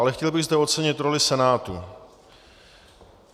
Ale chtěl bych zde ocenit roli Senátu.